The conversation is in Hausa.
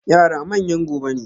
Yara manyan gobe ne.